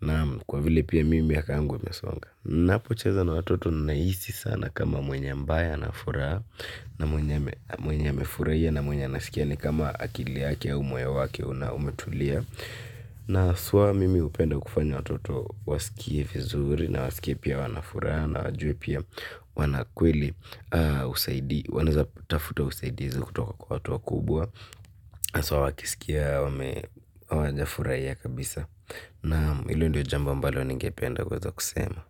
Naam, kwa vile mimi miaka yangu imesonga ninapocheza na watoto nahisi sana kama mwenye ambaye ana furaha na mwenye amefurahia na mwenye anasikia ni kama akili yake au moyo wake umetulia. Na haswa mimi hupenda kufanya watoto wasikie vizuri na wasikie pia wana furaha na wajue pia wana kweli na wanaweza kutafuta usaidizi kutoka kwa watu wakubwa. Haswa wakisikia hawajafurahia kabisa. Naam, ndo jambo ambalo ningeweza kusema.